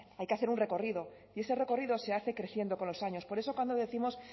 hay que hacer un recorrido y ese recorrido se hace creciendo con los años por eso cuando décimos